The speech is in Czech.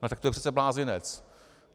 No tak to je přece blázinec.